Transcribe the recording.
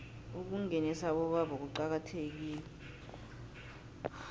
ukungenisa abobaba kuqakathekile